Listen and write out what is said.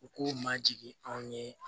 U k'u majigin anw ye